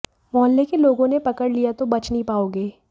मुहल्ले के लोगों ने पकड़ लिया तो बच नहीं पाओगे